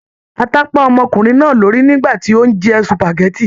Ata pá ọmọkùnrin náà lórí nígbàtí o n jẹ supágẹ̀tì.